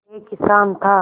एक किसान था